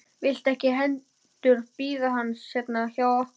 Viltu ekki heldur bíða hans hérna hjá okkur?